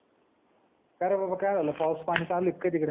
का रे बाबा काय झाल पाऊस पानी चालू आहे की काय तिकड